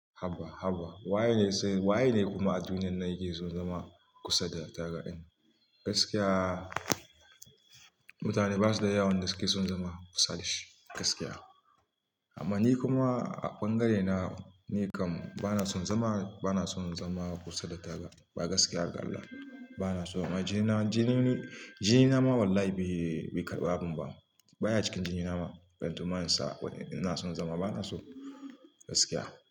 Haba, haba. Waye ne sai, waye ne kuma a duniyar nayike sun zama kusa da tagar ɗin? Gaskiya mutane ba su da yawan da suke son zama kusa da shi gaskiya. Amma ni kuma a ɓangare na ni kam bana son zama, bana son zama kusa da taga ba gaskiya galla. Bana so jini na, jini ni, jini na ma wallahi bai, bai karɓa abin ba. Ba ya cikin jini na ma. Kantuman sa ina son zama bana so gaskiya.